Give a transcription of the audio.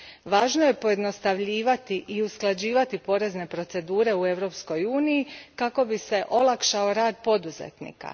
Važno je pojednostavljivati i usklađivati porezne procedure u Europskoj uniji kako bi se olakšao rad poduzetnika.